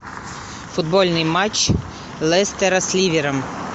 футбольный матч лестера с ливером